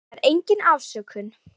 Það er engin afsökun.